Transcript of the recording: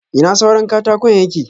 Ina suran katakon yake?